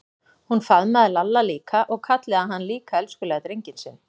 Hún faðmaði Lalla líka og kallaði hann líka elskulega drenginn sinn.